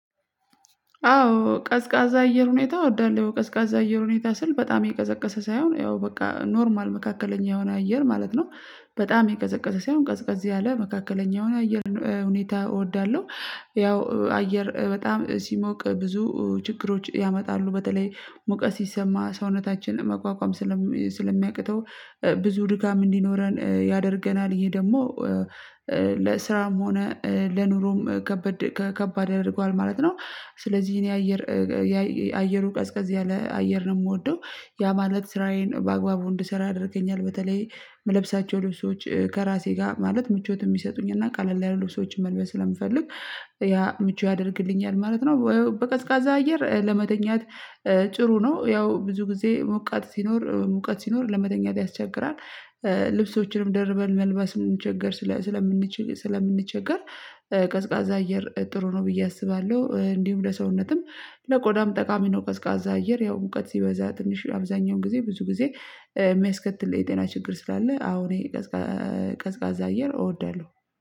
አዎ ቀዝቃዛ አየር ሁኔታ እወዳለሁ ቀዝቃዛ አየር ሁኔታ ስል በጣም የቀዘቀዘ ሳይሆን ያው በቃ ኖርማል መካከለኛ የሆነ አየር ማለት ነው። በጣም የቀዘቀዘ ሳይሆን ቀዝቀዝ ያለ መካከለኛ የሆነ አየር ሁኔታ እወዳለሁ። ያው አየር በጣም ሲሞቅ ብዙ ችግሮች ያመጣሉ በተለይ ሙቀት ሲሰማ ሰውነታችን መቋቋም ስለሚያቅተው ብዙ ድካም እንዲኖረን ያደርገናል ይሄ ደግሞ ለስራም ሆነ ለኑሮም ከባድ ከ ከባድ ያደርገዋል ማለት ነው። ስለዚህ እኔ አየር የአየሩ ቀዝቀዝ ያለ አየር ነው የምወደው። ያ ማለት ስራዬን በአግባቡ እንድሰራ ያደርገኛል በተለይ የምለብሳቸው ልብሶች ከራሴ ጋር ማለት ምቾት የሚሰጡኝ እና ቀለል ያሉ ልብሶችን መልበስ ስለምፈልግ ያ ምቹ ያደርግልኛል ማለት ነው። በቀዝቃዛ አየር ለመተኛት ጭሩ ነው ያው ብዙ ጊዜ ሞቀት ሲኖር ሙቀት ሲኖር ለመተኛት ያስቸግራል። ልብሶችንም ደርበን መልበስን ስንቸገር ስለምንች ስለምንቸገር ቀዝቃዛ አየር ጥሩ ነው ብዬ አስባለሁ። እንዲሁም ለሰውነትም ለቆዳም ጠቃሚ ነው። ቀዝቃዛ አየር ያው ሙውቀት ሲበዛ ትንሽ አብዛኛውን ጊዜ ብዙ ጊዜ የሚያስከትል የጤና ችግር ስላለ አሁን ቀዝቃዛ አየር እወዳለሁ